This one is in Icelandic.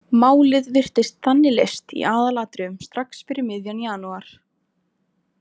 Málið virtist þannig leyst í aðalatriðum strax fyrir miðjan janúar.